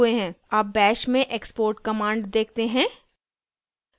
अब bash में export command देखते हैं